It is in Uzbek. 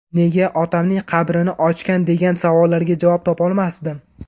Nega otamning qabrini ochgan degan savollarga javob topolmasdim.